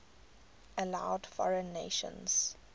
allowed foreign nations